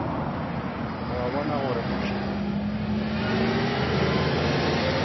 o a bona gore motho